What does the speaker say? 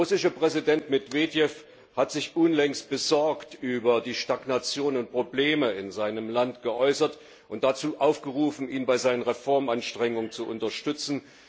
Der russische Präsident Medwedjew hat sich unlängst besorgt über die Stagnation und Probleme in seinem Land geäußert und dazu aufgerufen, ihn bei seinen Reformanstrengungen zu unterstützen.